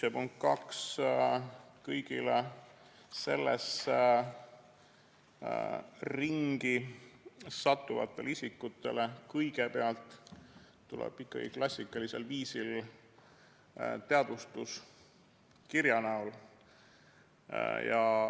Ja punkt kaks: kõigile sellesse ringi sattuvatele isikutele kõigepealt tuleb ikkagi klassikalisel viisil teade kirja näol.